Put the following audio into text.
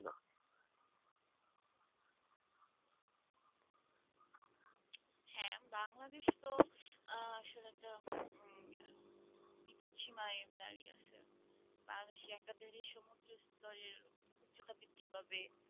বাংলাদেশ তো আহ আসলে একটা বিপদ সীমায় দাঁড়িয়ে আছে। একাধারে সমুদ্রের স্তরের উচ্চতা বৃদ্ধি পাবে।